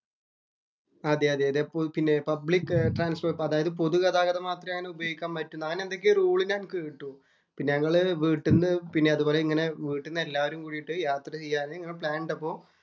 അതെ അതെ അതേ public transport പൊതു ഗതാഗതം മാത്രേ ഉപയോഗിക്കാൻ പറ്റുന്നത് അങ്ങനെ എന്തൊക്കെയാ റൂള്‍ ഞാന്‍ കേട്ടു. ഞങ്ങള് വീട്ടീന്ന് പിന്നെ അതുപോലെങ്ങനെ വീട്ടീന്ന് എല്ലാവരും കൂടീട്ടു യാത്ര ചെയ്യാന്‍ ഞങ്ങള്‍ പ്ലാന്‍ ഇട്ടപ്പോള്‍